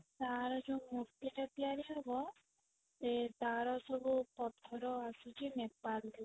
ତାର ଯଉ ମୂର୍ତ୍ତି ଟା ତିଆରି ହବ ଏ ତାର ସବୁ ପଥର ଆସୁଛି Nepal ରୁ